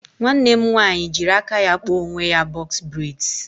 Nwanne m nwaanyị jịrị aka ya kpa onwe ya bọx breds